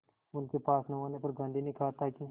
उनके पास न होने पर गांधी ने कहा था कि